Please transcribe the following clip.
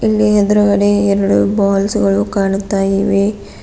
ಇಲ್ಲಿ ಎದ್ರುಗಡೆ ಎರಡು ಬಾಲ್ಸ್ ಗಳು ಕಾಣುತ್ತಾ ಇವೆ.